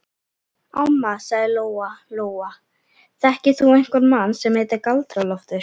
Amma, sagði Lóa Lóa, þekkir þú einhvern mann sem heitir Galdra-Loftur?